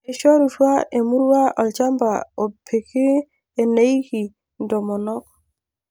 eishorutua emurua olchamba opiki eneiki intomonok.